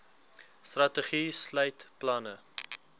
strategie sluit planne